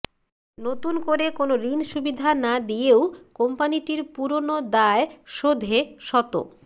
নতুন করে কোনো ঋণসুবিধা না দিয়েও কোম্পানিটির পুরোনো দায় শোধে শত